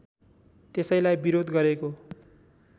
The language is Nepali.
त्यसैलाई विरोध गरेको